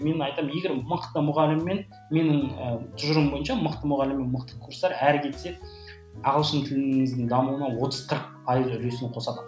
мен айтамын егер мықты мұғалім мен менің ы тұжырымым бойынша мықты мұғалім мен мықты курстар әрі кетсе ағылшын дамуына отыз қырық пайызы үлесін қосады